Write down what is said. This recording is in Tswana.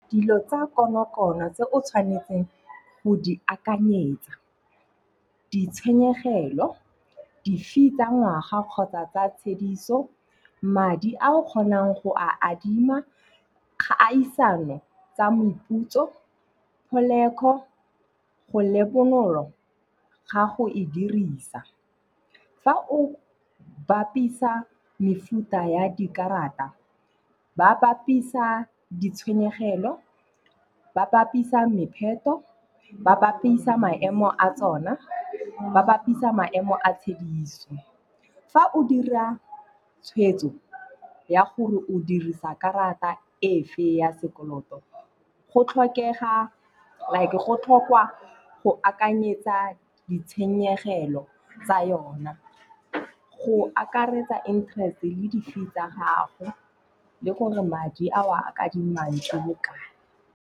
Dilo tsa konokono tse o tshwanetseng go di akanyetsa, ditshenyegelo, di-fee tsa ngwaga kgotsa tsa tshediso, madi a o kgonang go a adima, kgaisano tsa meputso, tlholego go le bonolo ga go e dirisa. Fa o bapisa mefuta ya dikarata, ba bapisa ditshwenyegelo, ba bapisa mepheto, ba bapisa maemo a tsona, ba bapisa maemo a tshediso. Fa o dira tshwetso ya gore o dirisa karata efe ya sekoloto, go tlhokega, like, go akanyetsa ditshenyegelo tsa yona. Go akaretsa interest le di-fee tsa gago le gore madi a o a kadimang ke bokae.